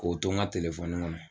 K'o to n ka kɔnɔ.